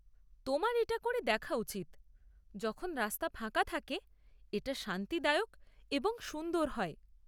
তোমার এটা করে দেখা উচিৎ; যখন রাস্তা ফাঁকা থাকে এটা শান্তিদায়ক এবং সুন্দর হয়।